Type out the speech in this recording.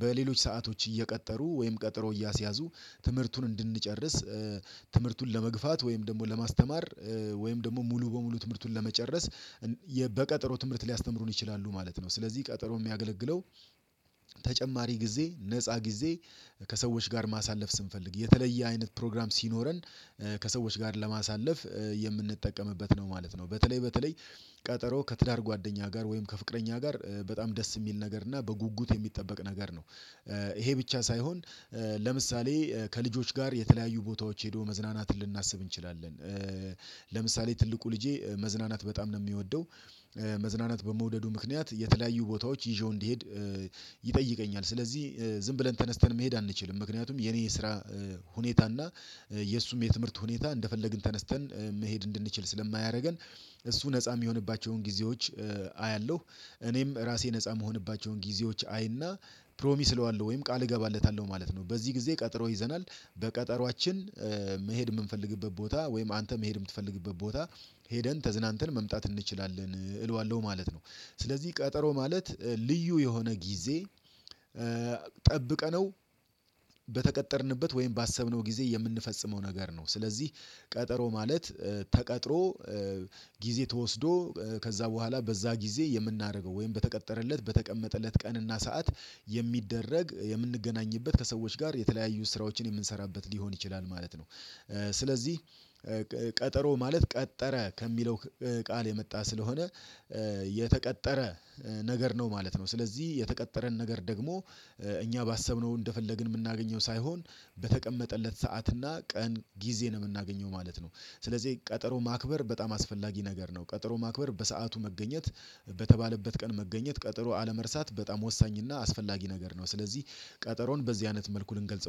በሌሎች ሰአቶች እየቀጠሩ ወይም ቀጠሮ እያስያዙ ትምህርቱን እንድንጨርስ ትምህርቱን ለመግፋት ወይም ደግሞ ለማስተማር ወይም ደግሞ ሙሉ በሙሉ ትምህርቱን ለመጨረስ በቀጠሮ ትምህርት ሊያስተምሩን ይችላሉ ማለት ነው። ስለዚህ ቀጠሮ የሚያገለግለው ተጨማሪ ጊዜ ነፃ ጊዜ ከሰዎች ጋር ማሳለፍ ስንፈልግ የተለየ አይነት ፕሮግራም ሲኖረን ከሰዎች ጋር ለማሳለፍ የምንጠቀምበት ነው ማለት ነው። በተለይ በተለይ ቀጠሮ ከትዳር ጓደኛ ጋር ወይም ከፍቅረኛ ጋር በጣም ደስ የሚል ነገር እና በጉጉት የሚጠበቅ ነገር ነው። ይሄ ብቻ ሳይሆን ለምሳሌ ከልጆች ጋር የተለያዩ ቦታዎች ሄዶ መዝናናትን ልናስብ እንችላለን፤ ለምሳሌ ትልቁ ልጄ መዝናናት በጣም ነው የሚወደው። መዝናናት በመውደዱ ምክንያት የተለያዩ ቦታዎች ይዤው እንዲሄድ ይጠይቀኛል። ስለዚህ ዝም ብለን ተነስተን መሄድ አንችልም። ምክንያቱም የኔ የስራ ሁኔታ እና የእሱም የትምህርት ሁኔታ እንደፈለግን ተነስተን መሄድ እንድንችል ስለማያደርገን እሱ ነፃ የሚሆንባቸውን ጊዜዎች አያለሁ፤ እኔም ራሴ ነፃ የምሆንባቸውን ጊዜዎች አይና ፕሮሚስ እለዋለሁ ወይም ቃል እገባለታለሁ ማለት ነው። በዚህ ጊዜ ቀጥሮ ይዘናል። በቀጠሮአችን መሄድ የምንፈልግበት ቦታ ወይም አንተ መሄድ የምትፈልግበት ቦታ ሄደን ተዝናንተን መምጣት እንችላለን እለዋለሁ ማለት ነው። ስለዚህ ቀጠሮ ማለት ልዩ የሆነ ጊዜ ጠብቀነው በተቀጠርንበት ወይም ባሰብነው ጊዜ የምንፈጽመው ነገር ነው። ስለዚህ ቀጠሮ ማለት ተቀጥሮ ጊዜ ተወስዶ ከዛ በኋላ በዛ ጊዜ የምናደርገው ወይም በተቀጠረለት በተቀመጠለት ቀንና ሰዓት የሚደረግ የምንገናኝበት ከሰዎች ጋር የተለያዩ ስራዎችን የምንሰራበት ሊሆን ይችላል ማለት ነው። ስለዚህ ቀጠሮ ማለት ቀጠረ ከሚለው ቃል የመጣ ስለሆነ የተቀጠረ ነገር ነው ማለት ነው። ስለዚህ የተቀጠረን ነገር ደግሞ እኛ ባሰብነው እንደፈለግን የምናገኘው ሳይሆን በተቀመጠለት ሰዓት እና ቀን ጊዜ ነው የምናገኘው ማለት ነው። ስለዚህ ቀጠሮ ማክበር በጣም አስፈላጊ ነገር ነው። ቀጠሮ ማክበር በሰአቱ መገኘት በተባለበት ቀን መገኘት ቀጠሮ አለመርሳት በጣም ወሳኝና አስፈላጊ ነገር ነው። ስለዚህ ቀጠሮን በዚህ አይነት መልኩ ልንገልጸው